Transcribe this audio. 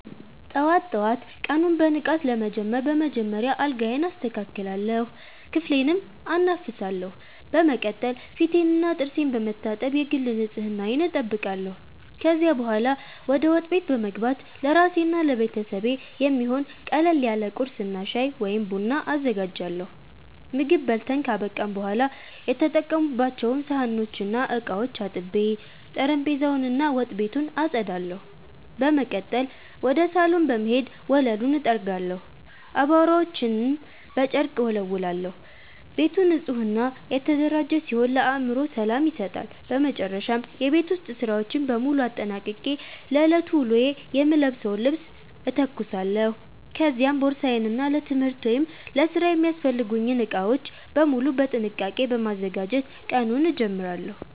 ጠዋት ጠዋት ቀኑን በንቃት ለመጀመር በመጀመሪያ አልጋዬን አስተካክላለሁ፣ ክፍሌንም አናፍሳለሁ። በመቀጠል ፊቴንና ጥርሴን በመታጠብ የግል ንጽህናዬን እጠብቃለሁ። ከዚያ በኋላ ወደ ወጥ ቤት በመግባት ለራሴና ለቤተሰቤ የሚሆን ቀለል ያለ ቁርስ እና ሻይ ወይም ቡና አዘጋጃለሁ። ምግብ በልተን ካበቃን በኋላ የተጠቀሙባቸውን ሳህኖችና ዕቃዎች አጥቤ፣ ጠረጴዛውን እና ወጥ ቤቱን አጸዳለሁ። በመቀጠል ወደ ሳሎን በመሄድ ወለሉን እጠርጋለሁ፣ አቧራዎችንም በጨርቅ እወለውላለሁ። ቤቱ ንጹህና የተደራጀ ሲሆን ለአእምሮ ሰላም ይሰጣል። በመጨረሻም የቤት ውስጥ ሥራዎችን በሙሉ አጠናቅቄ ለዕለቱ ውሎዬ የምለብሰውን ልብስ እተኩሳለሁ፤ ከዚያም ቦርሳዬን እና ለትምህርት ወይም ለሥራ የሚያስፈልጉኝን ዕቃዎች በሙሉ በጥንቃቄ በማዘጋጀት ቀኑን እጀምራለሁ።